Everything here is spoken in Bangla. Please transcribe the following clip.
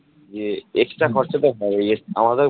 যে extra খরচা তো হবেই